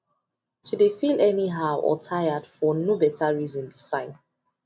to de feel any how or tired for no better reason be sign